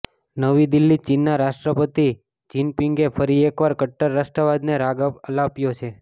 નવી દિલ્હીઃ ચીનના રાષ્ટ્રપતિ જિંનપીંગે ફરી એકવાર કટ્ટર રાષ્ટ્રવાદને રાગ આલાપ્યો છે